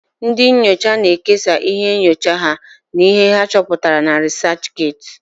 Ndị nyocha na-ekesa íhé nyocha ha na íhé ha chọputara na rịsachget.